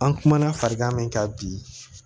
An kumana farankan min kan bi